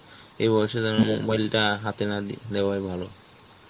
এই বয়সে যেন mobile টা হাতে না দি~ দেওয়াই ভালো